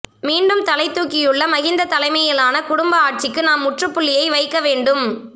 மீண்டும் தலைத்தூக்கியுள்ள மஹிந்த தலைமையிலான குடும்ப ஆட்சிக்கு நாம் முற்றுப்புள்ளியை வைக்க வேண்டும் எ